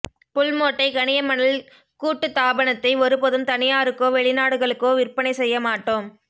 புல்மோட்டை கனிய மணல் கூட்டுத்தாபனத்தை ஒரு போதும் தனியாருக்கோ வெளிநாடுகளுக்கோ விற்பனை செய்ய மாட்டோம்